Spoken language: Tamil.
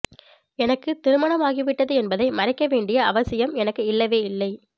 எனக்கு திருமணமாகிவிட்டது என்பதை மறைக்க வேண்டிய அவசியம் எனக்கு இல்லவே இல்லை